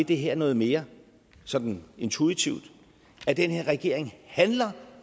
det her noget mere sådan intuitivt men den her regering handler